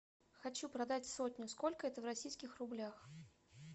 хочу продать сотню сколько это в российских рублях